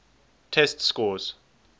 test scores